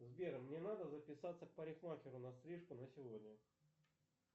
сбер мне надо записаться к парикмахеру на стрижку на сегодня